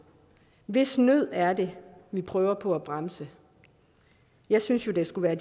hvis nød er det vi prøver på at bremse jeg synes det skulle være